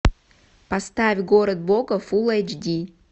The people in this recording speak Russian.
поставь город бога фулл эйч ди